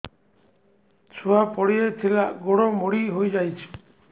ଛୁଆ ପଡିଯାଇଥିଲା ଗୋଡ ମୋଡ଼ି ହୋଇଯାଇଛି